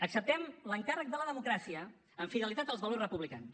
acceptem l’encàrrec de la democràcia amb fidelitat als valors republicans